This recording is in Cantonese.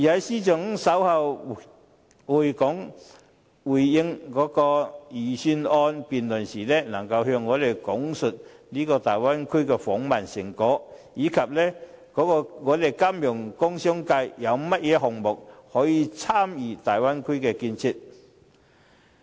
司長稍後回應預算案辯論時，亦能夠向我們講述大灣區的訪問成果，以及香港金融工商界有甚麼項目可以參與大灣區的建設。